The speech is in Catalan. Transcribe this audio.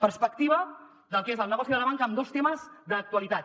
perspectiva del que és el negoci de la banca amb dos temes d’actualitat